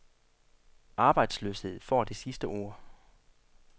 Arbejdsløshed får det sidste ord.